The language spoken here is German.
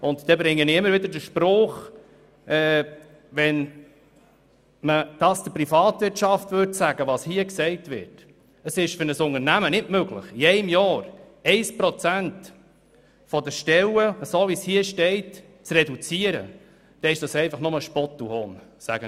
Ich sage es immer wieder: Wenn man in der Privatwirtschaft sagen würde, es sei für ein Unternehmen nicht möglich, innerhalb eines Jahres 1 Prozent der Stellen in diesem Sinn zu reduzieren, dann erzeugte dies nur Spott und Hohn.